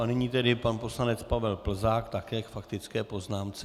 A nyní tedy pan poslanec Pavel Plzák, také k faktické poznámce.